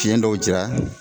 Piyen dɔw jira